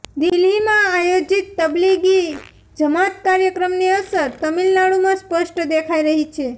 દિલ્હીમાં આયોજીત તબલીગી જમાત કાર્યક્રમની અસર તામિલનાડુમાં સ્પષ્ટ દેખાઈ રહી છે